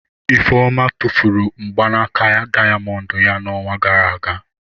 Ifeoma tụfuru mgbanaka dayamondu ya n'ọnwa gara aga.